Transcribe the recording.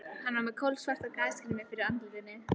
Hann var með kolsvarta gasgrímu fyrir andlitinu.